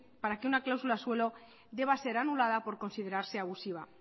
para que una cláusula suelo debe ser anulada por considerarse abusiva